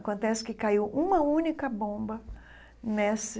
Acontece que caiu uma única bomba nesse